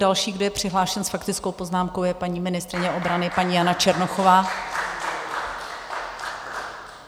Další, kdo je přihlášen s faktickou poznámkou, je paní ministryně obrany, paní Jana Černochová.